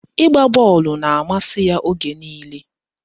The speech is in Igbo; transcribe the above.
Ịgba bọọlụ na-amasị ya oge niile